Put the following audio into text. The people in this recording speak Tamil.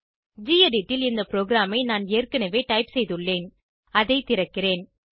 கெடிட் ல் இந்த ப்ரோகிராமை நான் ஏற்கனவே டைப் செய்துள்ளேன் அதை திறக்கிறேன்